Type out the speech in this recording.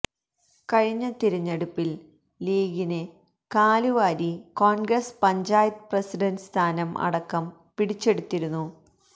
കഴിഞ്ഞ തിരഞ്ഞെടുപ്പില് ലീഗിന് കാലുവാരി കോണ്ഗ്രസ് പഞ്ചായത്ത് പ്രസിഡന്റ് സ്ഥാനം അടക്കം പിടിച്ചെടുത്തിരുന്നു